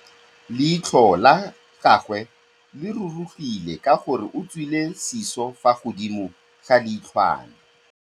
Leitlhô la gagwe le rurugile ka gore o tswile sisô fa godimo ga leitlhwana.